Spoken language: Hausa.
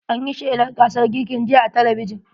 An yi shelan gasar girkin jiya a talabijin.